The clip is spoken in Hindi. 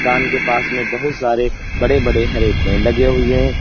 मकान के पास में बहुत सारे बड़े बड़े हरे पेड़ लगे हुए हैं।